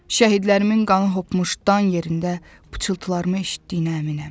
Şəhidlərimin qanı hopmuş dan yerində pıçıltılarımı eşitdiyinə əminəm.